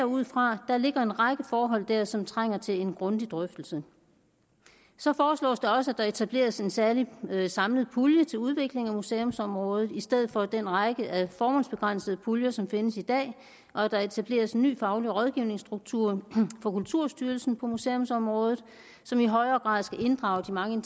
ud fra der ligger en række forhold der som trænger til en grundig drøftelse så foreslås det også at der etableres en særlig samlet pulje til udvikling af museumsområdet i stedet for den række af formålsbegrænsede puljer som findes i dag og at der etableres en ny faglig rådgivningsstruktur for kulturstyrelsen på museumsområdet som i højere grad skal inddrage de mange